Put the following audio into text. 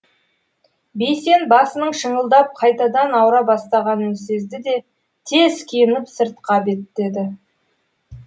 бейсен басының шыңылдап қайтадан ауыра бастағанын сезді де тез киініп сыртқа беттеді